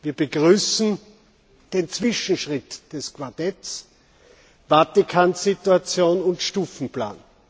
Wir begrüßen den Zwischenschritt des Quartetts, Vatikansituation und Stufenplan.